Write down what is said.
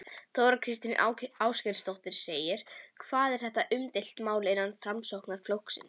Þóra Kristín Ásgeirsdóttir: Hvað er þetta umdeilt mál innan Framsóknarflokksins?